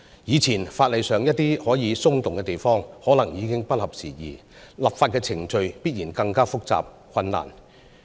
以前法例上一些可以從寬處理的地方，可能已經不合時宜，立法的程序必然更加複雜和困難。